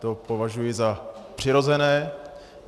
To považuji za přirozené.